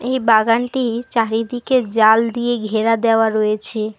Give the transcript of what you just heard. এই বাগানটির চারিদিকে জাল দিয়ে ঘেরা দেওয়া রয়েছে।